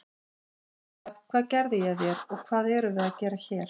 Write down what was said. Hann hafi sagt: Hvað gerði ég þér og hvað erum við að gera hér?